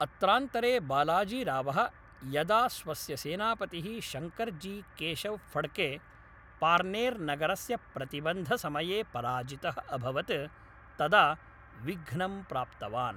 अत्रान्तरे, बालाजीरावः यदा स्वस्य सेनापतिः शंकरजी केशव फड्के, पार्र्नेर् नगरस्य प्रतिबन्धसमये पराजितः अभवत् तदा विघ्नं प्राप्तवान्।